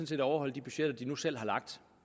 set at overholde de budgetter de nu selv